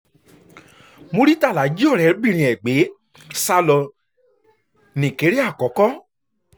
muritàlá jí ọ̀rẹ́bìnrin ẹ̀ gbé sá lọ nìkéré àkọ́kọ́